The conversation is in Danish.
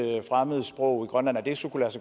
fremmedsprog i grønland så kunne